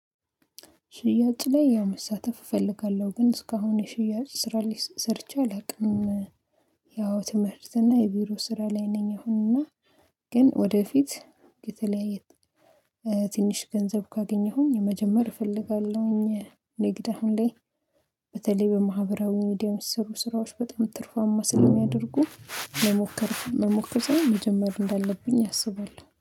ሽያጭ ላይ ያው መሳተፍ እፈልጋለሁ ግን እስካሁን የሽያጭ ስራ ል ሰርቼ አላውቅም። ያው ትምህርት እና የቢሮ ስራ ላይ ነኝ። አሁን እና ግን ወደፊት የተለያየ ትንሽ ገንዘብ ካገኘሁኝ የመጀመሪያ እፈልጋለሁኝ ንግድ አሁን ላይ በተለይ በማህበራዊ ሚዲየም ስሩ ስራዎች በጣም ትርፋማ ስለሚያደርጉ መሞከር መሞከር ሳይሆ መጀመር እንዳለብኝ ያስባል